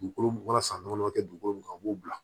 Dugukolo mun ka san nɔnɔ tɛ dugukolo min kan o b'o bila